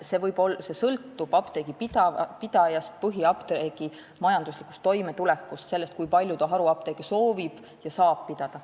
See sõltub apteegipidajast, põhiapteegi majanduslikust toimetulekust ja sellest, kui palju haruapteeke soovitakse ja saadakse pidada.